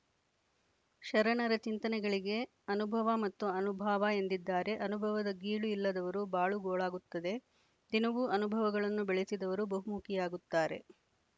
ಶರಣರ ಚಿಂತನೆಗಳಿಗೆ ಅನುಭವ ಮತ್ತು ಅನುಭಾವ ಎಂದಿದ್ದಾರೆ ಅನುಭವದ ಗೀಳು ಇಲ್ಲದವರು ಬಾಳು ಗೋಳಾಗುತ್ತದೆ ದಿನವು ಅನುಭವಗಳನ್ನು ಬೆಳೆಸಿದವರು ಬಹುಮುಖಿಯಾಗುತ್ತಾರೆ